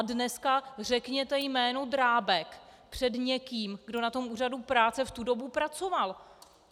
A dneska řekněte jméno Drábek před někým, kdo na tom úřadu práce v tu dobu pracoval.